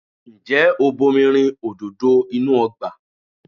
Ǹjẹ́ o bomi rin òdòdó inú ọgbà?